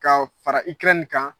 Ka fara Ukɛrɛnin kan